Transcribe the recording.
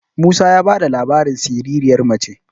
musa ya ba da labarin siririyar mace